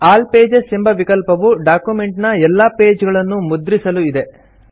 all pages ಎಂಬ ವಿಕಲ್ಪವು document ನ ಎಲ್ಲಾ ಪೇಜ್ ಗಳನ್ನು ಮುದ್ರಿಸಲು ಇದೆ